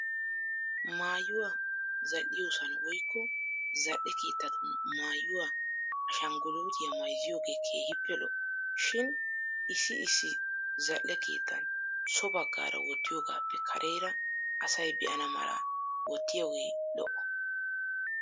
Mayyuwaa zal'iyoosan woykko zal'e keettatun maayuwa ashangguluutiya mayzziyoogee keehippe lo'o. Shin issi issi zal'e keettan so baggaara wottiyogappe Kareera asay be'ana mala wottiyogee lo'o.